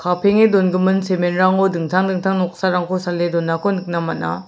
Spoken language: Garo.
kapenge dongimin simen rango dingtang dingtang noksarangko sale donako nikna man·a.